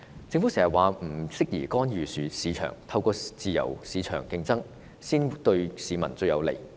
政府常說不適宜干預市場，自由市場競爭才是對市民最有利。